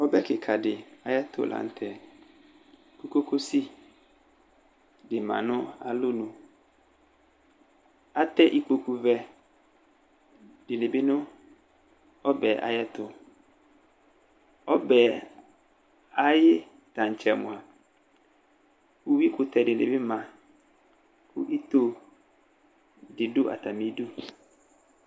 Ɔbɛ kɩka dɩ ayʋ ɛtʋ la nʋ tɛ, kʋ kokosi dɩ ma nʋ alonu, atɛ ikpoku vɛ dɩnɩ bɩ nʋ ɔbɛ ayʋ ɛtʋ, ɔbɛ Ayɩ tantsɛ mʋa, uyui kʋtɛ dɩ bɩ ma, kʋ ito dɩ dʋ atamɩ idu